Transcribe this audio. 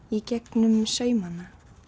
í gegnum saumana